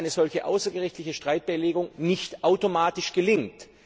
Klar ist, dass eine solche außergerichtliche Streitbeilegung nicht automatisch gelingt.